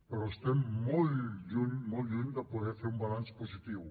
però estem molt lluny molt lluny de poder fer ne un balanç positiu